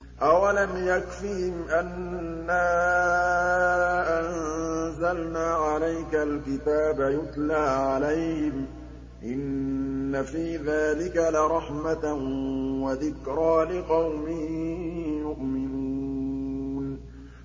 أَوَلَمْ يَكْفِهِمْ أَنَّا أَنزَلْنَا عَلَيْكَ الْكِتَابَ يُتْلَىٰ عَلَيْهِمْ ۚ إِنَّ فِي ذَٰلِكَ لَرَحْمَةً وَذِكْرَىٰ لِقَوْمٍ يُؤْمِنُونَ